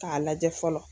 K'a lajɛ fɔlɔ